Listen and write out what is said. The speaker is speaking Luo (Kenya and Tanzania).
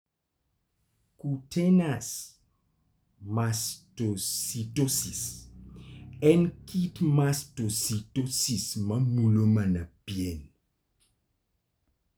Cutaneous mastocytosis en kit mastocytosis ma mulo mana pien.